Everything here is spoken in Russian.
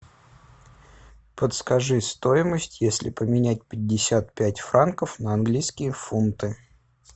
подскажи стоимость если поменять пятьдесят пять франков на английские фунты